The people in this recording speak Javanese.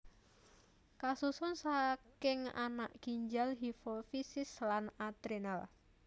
Kasusun sakinganak ginjal hifofisis lan adrenal